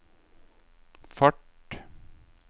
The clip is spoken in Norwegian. fart